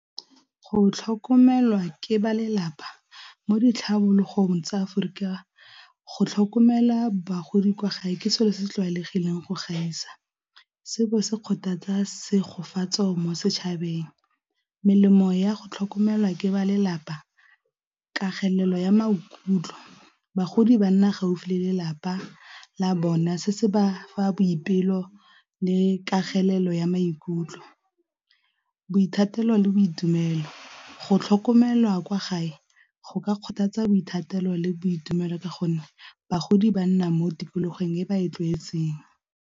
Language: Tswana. Go tlhokomelwa ke ba lelapa mo ditlhabologong tsa Aforika, go tlhokomela bagodi kwa gae ke selo se se tlwaelegileng go gaisa, se bo se kgothatsa mo setšhabeng. Melemo ya go tlhokomelwa ke ba lelapa ya maikutlo, bagodi banna gaufi le lelapa la bona se se ba fa boipelo le ka kagelelo ya maikutlo, boithatelo le boitumelo go tlhokomelwa kwa gae go ka kgothatsa boithatelo le boitumelo ka gonne bagodi ba nna mo tikologong e ba e tlwaetseng.